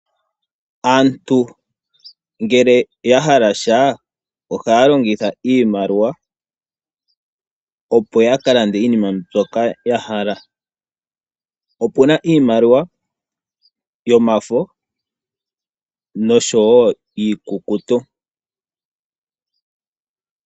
Aantu ngele oyahala sha ohaya longitha iimaliwa opo ya kalande iinima mbyoka yahala. Opuna iimaliwa yomafo nosho wo iikukutu.